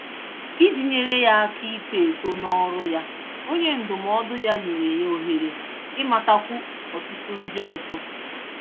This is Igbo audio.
Iji nyèrè ya áká ito-eto n'ọrụ ya, onye ndụmọdụ ya nyèrè ya ohere imatakwu ọtụtụ ndị ọzọ